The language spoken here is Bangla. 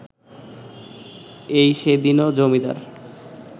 এই সেদিনও জমিদার